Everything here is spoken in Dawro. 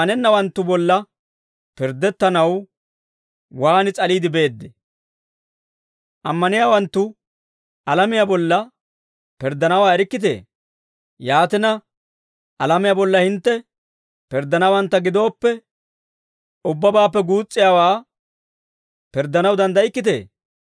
Ammaniyaawanttu alamiyaa bolla pirddanawaa erikkitee? Yaatina, alamiyaa bolla hintte pirddanawantta gidooppe, ubbabaappe guus's'iyaawaa pirddanaw danddaykkitee?